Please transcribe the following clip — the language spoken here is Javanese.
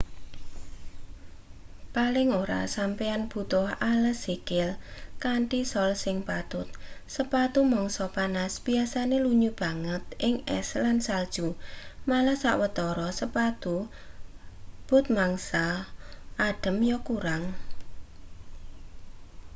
paling ora sampeyan butuh ales sikil kanthi sol sing patut sepatu mangsa panas biasane lunyu banget ing es lan salju malah sawetara sepatu but mangsa adhem ya kurang